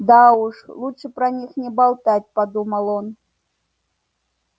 да уж лучше про них не болтать подумал он